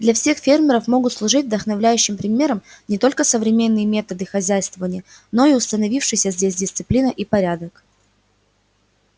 для всех фермеров могут служить вдохновляющим примером не только современные методы хозяйствования но и установившиеся здесь дисциплина и порядок